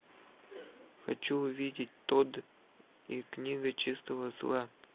хочу увидеть тод и книга чистого зла